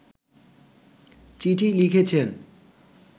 চিঠি লিখেছেন